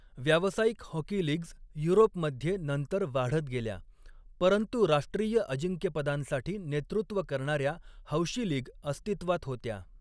व्यावसायिक hockey leagues युरोपमध्ये नंतर वाढत गेल्या, परंतु राष्ट्रीय अजिंक्यपदांसाठी नेतृत्व करणाऱ्या हौशी लीग अस्तित्वात होत्या.